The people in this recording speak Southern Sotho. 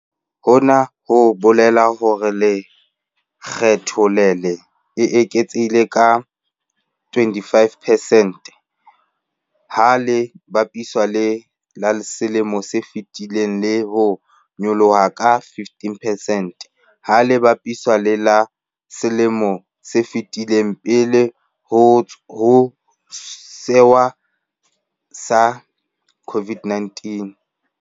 Hona ho bolela hore lekge tho le le eketsehile ka 25 percent ha le bapiswa le la selemong se fetileng le ho nyolloha ka 15 percent ha le bapiswa le la selemong se fetileng pele ho sewa sa COVID-19.